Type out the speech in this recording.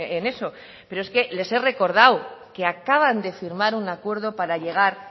en eso pero es que les he recordado que acaban de firmar un acuerdo para llegar